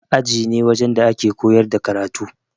Aji ne wajen da ake koyar da karatu.